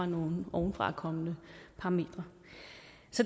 nogle ovenfrakommende parametre